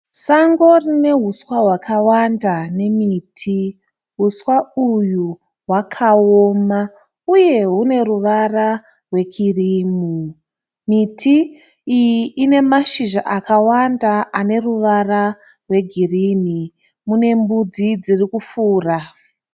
Sango rine huswa hwawanda nemiti. Huswa uyu hwakaona uye hune ruvara rwekirimu. Miti iyi ine mashizha akawanda aneruvara rwegirinhi. Munembudzi dzirikufura.